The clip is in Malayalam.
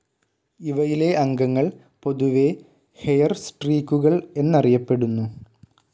ഇവയിലെ അംഗങ്ങൾ പൊതുവെ ഹെയർസ്ട്രീക്കുകൾ എന്നറിയപ്പെടുന്നു.